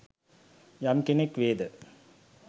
යම් කෙනෙක් වේද